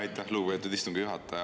Aitäh, lugupeetud istungi juhataja!